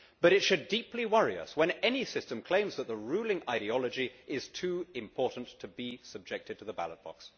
But it should deeply worry us when any system claims that the ruling ideology is too important to be subjected to the ballot box.